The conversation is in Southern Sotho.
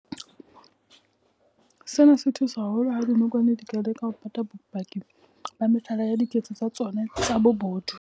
Sena se thusa haholo ha dinokwane di ka leka ho pata bopaki ba mehlala ya diketso tsa tsona tsa bobodu.